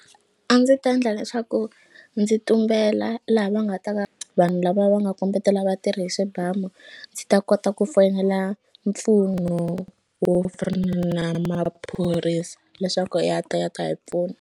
A ndzi ta ndla leswaku ndzi tumbela laha va nga ta va vanhu lava va nga kombetela vatirhi hi swibamu ndzi ta kota ku foyinela mpfuno wo na maphorisa leswaku ya ta ya ta hi pfuna.